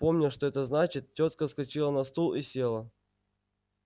помня что это значит тётка вскочила на стул и села